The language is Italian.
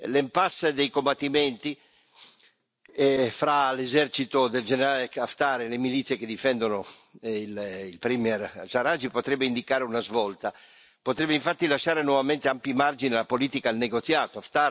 L'impasse dei combattimenti fra l'esercito del generale Haftar e le milizie che difendono il premier Sarraj potrebbe indicare una svolta, potrebbe infatti lasciare nuovamente ampi margini alla politica e al negoziato.